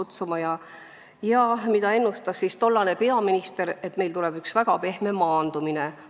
Tollane peaminister ennustas, et meil tuleb väga pehme maandumine.